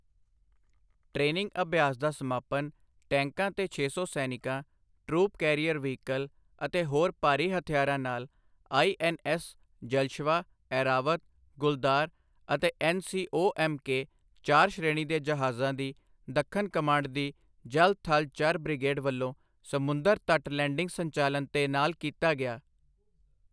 Training ਅਭਿਆਸ ਦਾ ਸਮਾਪਨ ਟੈਂਕਾਂ ਤੇ ਛੇ ਸੌ ਸੈਨਿਕਾਂ, ਟਰੂਪ ਕੈਰੀਅਰ ਵਹੀਕਲ ਅਤੇ ਹੋਰ ਭਾਰੀ ਹਥਿਆਰਾਂ ਨਾਲ ਆਈ.ਐਨ.ਐਸ. ਜਲਸ਼ਵਾ, ਐਰਾਵਤ, ਗੁਲਦਾਰ ਅਤੇ ਐਨ.ਸੀ.ਊ. ਐਮ.ਕੇ. ਚਾਰ ਸ਼੍ਰੇਣੀ ਦੇ ਜਹਾਜਾਂ ਦੀ ਦੱਖਣ ਕਮਾਂਡ ਦੀ ਜਲ ਥਲ ਚਰ ਬਿ੍ਗੇਡ ਵਲੋਂ ਸਮੁੰਦਰ ਤਟ ਲੈਂਡਿੰਗ ਸੰਚਾਲਨ ਦੇ ਨਾਲ ਕੀਤਾ ਗਿਆ।